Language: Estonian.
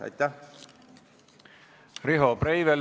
Riho Breivel, palun!